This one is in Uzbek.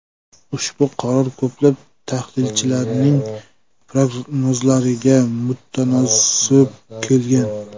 Ushbu qaror ko‘plab tahlilchilarning prognozlariga mutanosib kelgan.